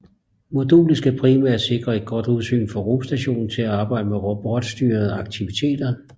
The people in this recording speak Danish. Modulet skal primært sikre et godt udsyn fra rumstationen til at arbejde med robotstyrede aktiviteter